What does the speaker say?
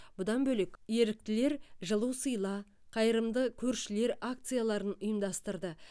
бұдан бөлек еріктілер жылу сыйла қайырымды көршілер акцияларын ұйымдастырды